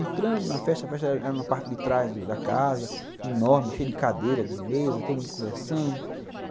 Entrando na festa, a festa era na parte de trás da casa, enorme, cheia de cadeira, de mesa, todo mundo conversando.